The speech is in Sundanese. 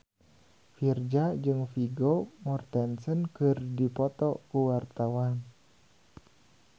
Virzha jeung Vigo Mortensen keur dipoto ku wartawan